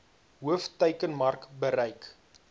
hoof teikenmark bereik